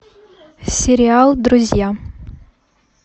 сериал друзья